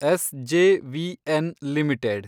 SJVN limited